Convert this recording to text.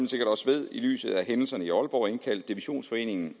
sikkert også ved i lyset af hændelserne i aalborg indkaldt divisionsforeningen